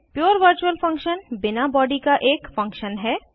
पुरे virtual function बिना body का एक फंक्शन है